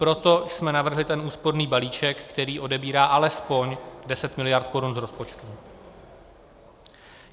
Proto jsme navrhli ten úsporný balíček, který odebírá alespoň 10 mld. korun z rozpočtu.